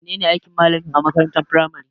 Me ne ne aikin malami a makarantar firamare?